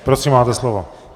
Prosím, máte slovo.